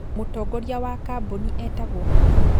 Mũtongoria wa kambũni etagwo atĩa?